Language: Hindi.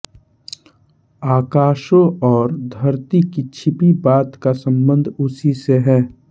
आकाशों और धरती की छिपी बात का सम्बन्ध उसी से है